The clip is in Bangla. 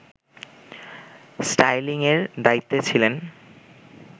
স্টাইলিংয়ের দায়িত্বে ছিলেন